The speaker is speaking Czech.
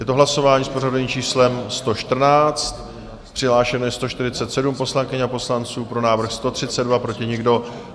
Je to hlasování s pořadovým číslem 114, přihlášeno je 147 poslankyň a poslanců, pro návrh 132, proti nikdo.